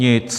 Nic.